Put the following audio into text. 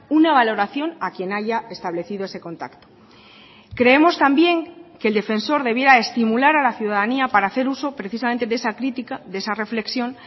una valoración a quien haya establecido ese contacto creemos también que el defensor debiera estimular a la ciudadanía para hacer uso precisamente de esa crítica de esa reflexión